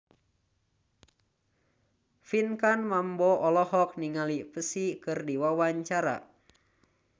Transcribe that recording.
Pinkan Mambo olohok ningali Psy keur diwawancara